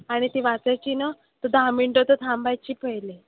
आणि ती वाचायची ना तर दहा मिनिटं तर थांबायची पहिले.